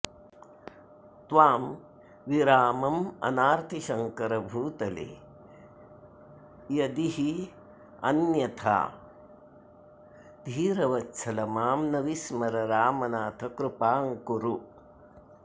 त्वां विराममनार्ति शङ्कर भूतले यदिरन्यथा धीरवत्सल मां न विस्मर रामनाथ कृपां कुरु